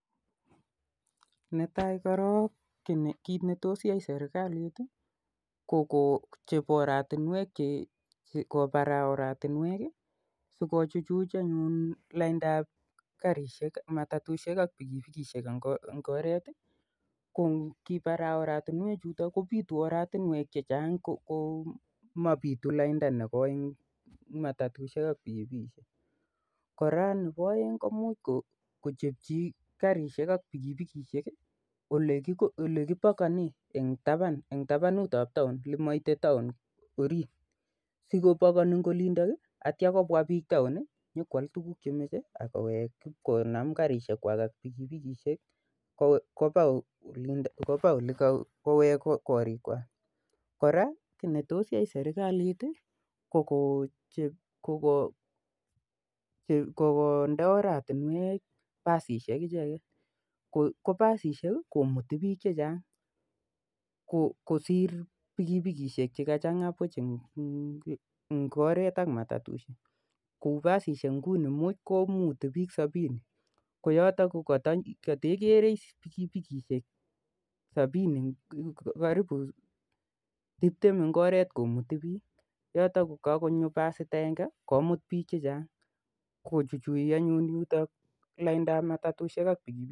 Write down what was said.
Netaai korok kiit NE tos yai serikalit koo kobarai oratinwek si ko chuchchuch laindap matatusiek ak pikipikishek en oret ko ngibarai oratinwek kopitu oratinwek chechang mapituu lainda nekooi nebo matatusiek ak pikipikishek koraa komuch kochepji garishek ak pikipikishek olekipakanee eng sang neboo taon olemaitee taon kwen asikopakonii eng olindo kopwa taon atyo kowek ipkolany garishek kwaak koweek kurgat koraa kii ne tos yaai serikalit kokonde oratinwek pasishek cheimuti piik chechang sii kochuchchuch laindap matatusiek ak pikipikishek